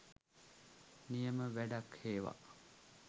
නියම වැඩක් හේවා